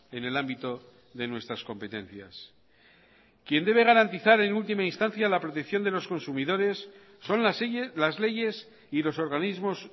en el ámbito de nuestras competencias quien debe garantizar en última instancia la protección de los consumidores son las leyes y los organismos